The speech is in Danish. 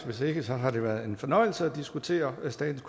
hvis ikke har det været en fornøjelse at diskutere statens